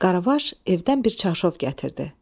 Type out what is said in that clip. Qaravaş evdən bir çarşov gətirdi.